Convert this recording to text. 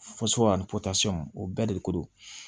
o bɛɛ de ko don